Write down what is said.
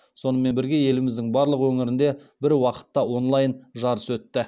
сонымен бірге еліміздің барлық өңірінде бір уақытта онлайн жарыс өтті